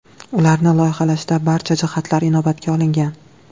Ularni loyihalashda barcha jihatlar inobatga olingan.